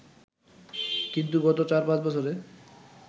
কিন্তু গত চার-পাঁচ বছরে